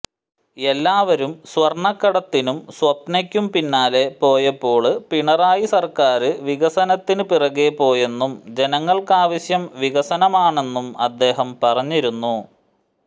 എല്ലാവരും സ്വര്ണക്കടത്തിനും സ്വപ്നയ്ക്കും പിന്നാലെ പോയപ്പോള് പിണറായി സര്ക്കാര് വികസനത്തിന് പിറകേ പോയെന്നും ജനങ്ങള്ക്കാവശ്യം വികസനമാണെന്നും അദ്ദേഹം പറഞ്ഞിരുന്നു